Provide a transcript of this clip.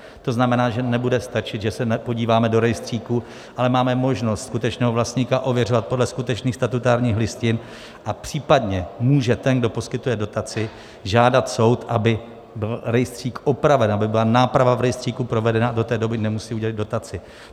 To znamená, že nebude stačit, že se podíváme do rejstříku, ale máme možnost skutečného vlastníka ověřovat podle skutečných statutárních listin a případně může ten, kdo poskytuje dotaci, žádat soud, aby byl rejstřík opraven, aby byla náprava v rejstříku provedena, a do té doby nemusí udělit dotaci.